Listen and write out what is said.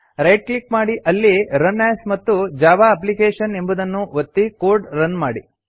right click ಮಾಡಿ ಅಲ್ಲಿ run as ಮತ್ತು ಜಾವಾ ಅಪ್ಲಿಕೇಶನ್ ಎಂಬುದನ್ನು ಒತ್ತಿ ಕೋಡ್ ಅನ್ನು ರನ್ ಮಾಡಿ